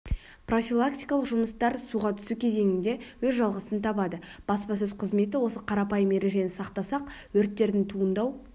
профилактикалық жұмыстар суға түсу кезеңінде өз жалғасын табады баспасөз қызметі осы қарапайым ережені сақтасақ өрттердің туындау